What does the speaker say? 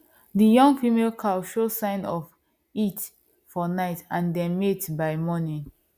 the young female cow show sign of heat for night and dem mate am by morning